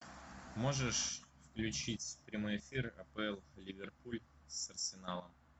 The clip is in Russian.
можешь включить прямой эфир апл ливерпуль с арсеналом